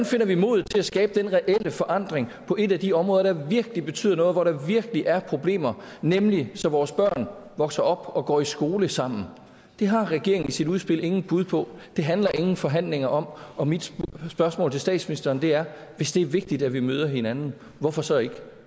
finder vi modet til at skabe den reelle forandring på et af de områder der virkelig betyder noget hvor der virkelig er problemer nemlig så vores børn vokser op og går i skole sammen det har regeringen i sit udspil ingen bud på det handler ingen forhandlinger om og mit spørgsmål til statsministeren er hvis det er vigtigt at vi møder hinanden hvorfor så ikke